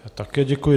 Také děkuji.